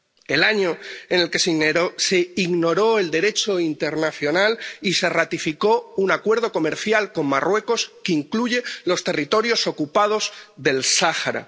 el año en el que se ignoró el Derecho internacional y se ratificó un acuerdo comercial con Marruecos que incluye los territorios ocupados del Sáhara